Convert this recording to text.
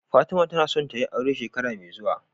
Fatima tAna son tayi aure shekara me zuwa